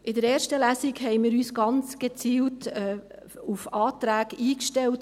In der ersten Lesung haben wir uns gezielt auf Anträge eingestellt.